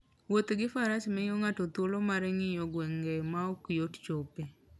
Wuoth gi faras miyo ng'ato thuolo mar ng'iyo gwenge ma ok yot chopoe.